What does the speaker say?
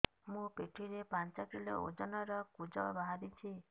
ମୋ ପିଠି ରେ ପାଞ୍ଚ କିଲୋ ଓଜନ ର କୁଜ ବାହାରିଛି